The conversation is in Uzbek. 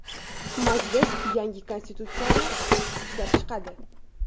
Majlis yangi konstitutsiyani ishlab chiqadi.